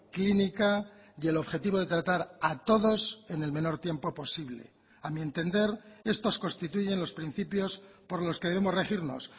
clínica y el objetivo de tratar a todos en el menor tiempo posible a mi entender estos constituyen los principios por los que debemos regirnos